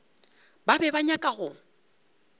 ba be ba nyaka go